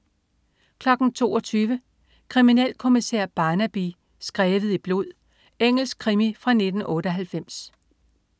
22.00 Kriminalkommissær Barnaby: Skrevet i blod. Engelsk krimi fra 1998